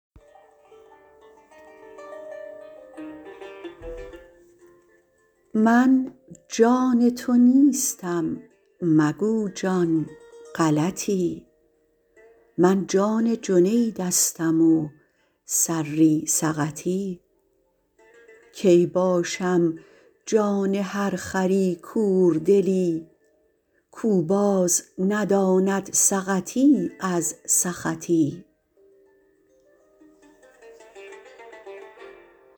من جان تو نیستم مگو جان غلطی من جان جنیدستم و سری سقطی کی باشم جان هر خری کوردلی کو باز نداند سقطی از سخطی